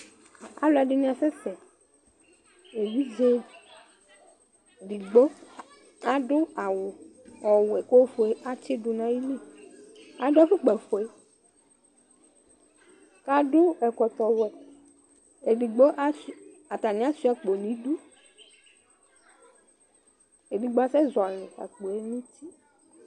aloɛdini asɛ sɛ evidze edigbo ado awu ɔwɛ k'ofue atsi do n'ayili ado afukpa fue k'ado ɛkɔtɔ wɛ edigbo atani asua akpo n'idu edigbo asɛ zɔli akpoe n'uti